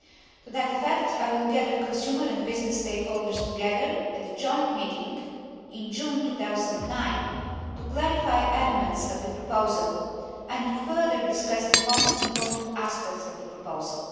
To that effect, I will gather consumer and business stakeholders together at a joint meeting in June 2009 to clarify elements of the proposal and to further discuss the most important aspects of the proposal.